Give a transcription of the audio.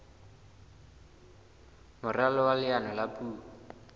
moralo wa leano la puo